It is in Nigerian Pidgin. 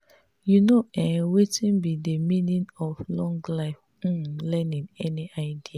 you know um wetin be di meaning of lifelong um learning any idea?